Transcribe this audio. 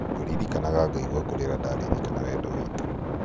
ngũririkanaga ngaigua kũrĩra ndaririkana wendo witũ